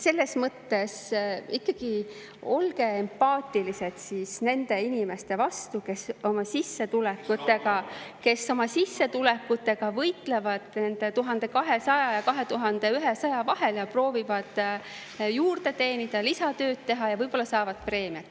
Selles mõttes ikkagi olge empaatilised nende inimeste vastu, kes oma sissetulekutega nende 1200 ja 2100 vahel ja proovivad juurde teenida, lisatööd teha ja võib-olla saavad preemiat.